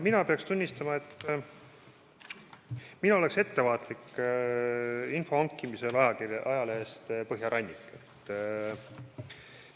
Ma pean tunnistama, et mina oleks info hankimisel ajalehest Põhjarannik ettevaatlik.